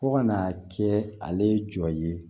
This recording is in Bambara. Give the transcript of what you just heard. Fo ka n'a kɛ ale jɔ ye